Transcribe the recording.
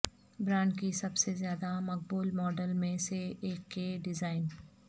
brand کی سب سے زیادہ مقبول ماڈل میں سے ایک کے ڈیزائن